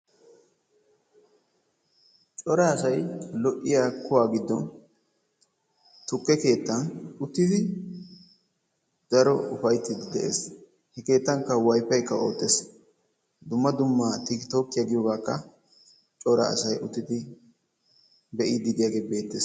Cora asay lo"iyaa kuwaa giddon tukke keettan uttidi daro ufayttiidi de'ees. He keettan wayfaykka oottees. Dumma dumma tiktookiyaa giyoogaakka cora asay uttidi be'iidi diyaagee beettees.